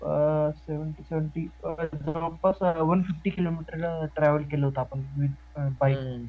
seventy seventy जवळपास one fifty kilometre travel केलं होतं आपण विथ पायी